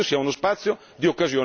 Io sono convinto di questo.